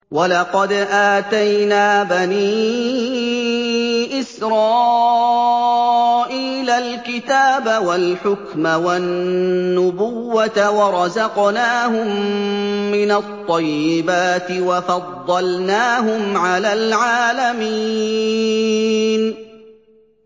وَلَقَدْ آتَيْنَا بَنِي إِسْرَائِيلَ الْكِتَابَ وَالْحُكْمَ وَالنُّبُوَّةَ وَرَزَقْنَاهُم مِّنَ الطَّيِّبَاتِ وَفَضَّلْنَاهُمْ عَلَى الْعَالَمِينَ